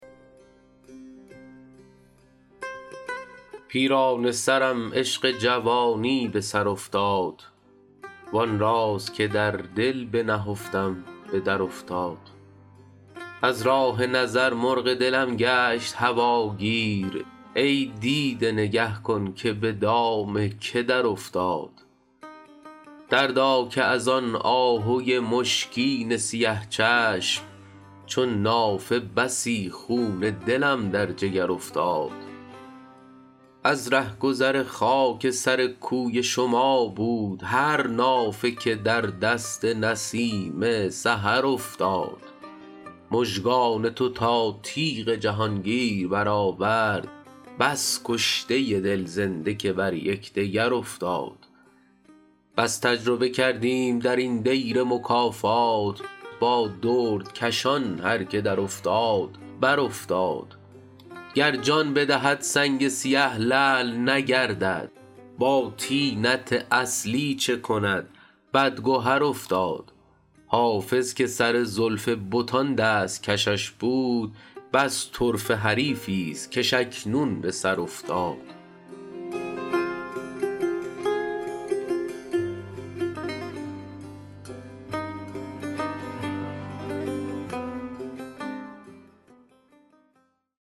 پیرانه سرم عشق جوانی به سر افتاد وآن راز که در دل بنهفتم به درافتاد از راه نظر مرغ دلم گشت هواگیر ای دیده نگه کن که به دام که درافتاد دردا که از آن آهوی مشکین سیه چشم چون نافه بسی خون دلم در جگر افتاد از رهگذر خاک سر کوی شما بود هر نافه که در دست نسیم سحر افتاد مژگان تو تا تیغ جهانگیر برآورد بس کشته دل زنده که بر یکدگر افتاد بس تجربه کردیم در این دیر مکافات با دردکشان هر که درافتاد برافتاد گر جان بدهد سنگ سیه لعل نگردد با طینت اصلی چه کند بدگهر افتاد حافظ که سر زلف بتان دست کشش بود بس طرفه حریفی ست کش اکنون به سر افتاد